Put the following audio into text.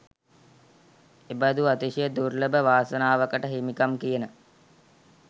එබඳු අතිශය දුර්ලභ වාසනාවකට හිමිකම් කියන